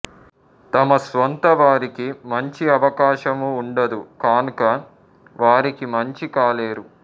తమ స్వంత వారికి మంచి అవకాశము ఉండదు కానుక వారికి మంచి కాలేరు